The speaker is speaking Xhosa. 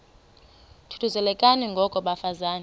thuthuzelekani ngoko bafazana